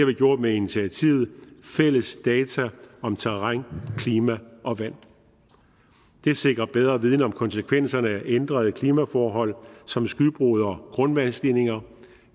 vi gjort med initiativet fælles data om terræn klima og vand det sikrer bedre viden om konsekvenserne af ændrede klimaforhold som skybrud og grundvandsstigninger